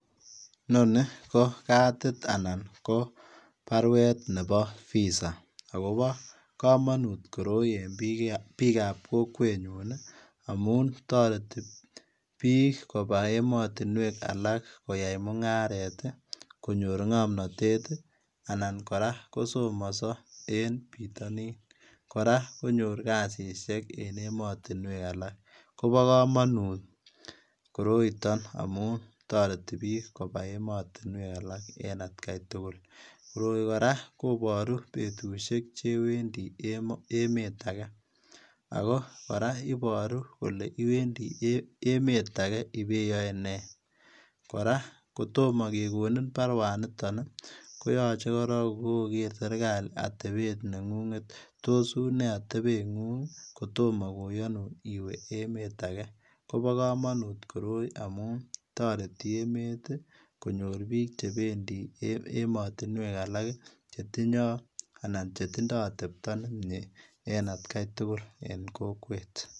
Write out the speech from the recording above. Inoni ko katit anan baruet nebo [visa] agobo kamanut koroi en biik ab kokweet nyuun ii amuun taretii biik kobaa ematinweek alaak koyai mungaret ii konyoor ngamnatet ii anan kora kosomasaa en bitanin kora konyoor kasisiek en ematinweek alaak Kobo kamanut koroitoo amuun taretii biik kobaa ematinweek alaak en at gai tugul, koroi kora kobaruu betusiek che Wendi ematinweek alaak kora ibaruu kole iwendii emet agei ibeyae nee kora kotomah kegonin baruet nitoon ii koyachei korong ko koger serikali atebeet nengung tos unee atebeet nengung koitamaah koyanuun iweeh emet agei Kobo kamanut koroi amuun taretii emet ii konyoor biik che bendii ematinweek alaak che tindai atepta nemyee en at gai tugul en kokwet.